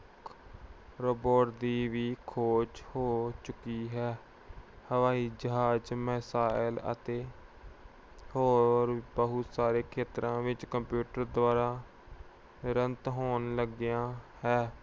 robot ਦੀ ਵੀ ਖੋਜ ਹੋ ਚੁੱਕੀ ਹੈ। ਹਵਾਈ ਜਹਾਜ, ਮਿਸਾਇਲ ਅਤੇ ਹੋਰ ਬਹੁਤ ਸਾਰੇ ਖੇਤਰਾਂ ਵਿੱਚ computer ਦੁਆਰਾ ਤੁਰੰਤ ਹੋਣ ਲੱਗਿਆ ਹੈ।